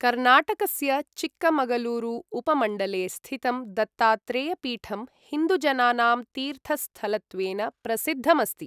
कर्णाटकस्य चिक्कमगलूरु उपमण्डले स्थितं दत्तात्रेयपीठं हिन्दुजनानां तीर्थस्थलत्वेन प्रसिद्धम् अस्ति।